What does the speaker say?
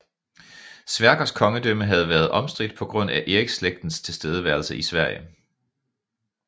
Sverkers kongedømme havde været omstridt på grund af Eriksslægtens tilstedeværelse i Sverige